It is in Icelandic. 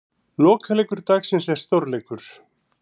Lokaleikur dagsins er stórleikur.